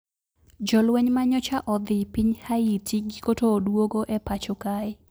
Jolweny ma nyocha odhi piny Haiti giko to uduogo e pacho kae